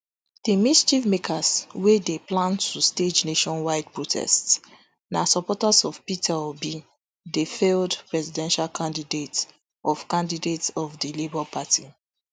di mischiefmakers wey dey plan to stage nationwide protests na supporters of peter obi di failed presidential candidate of candidate of di labour party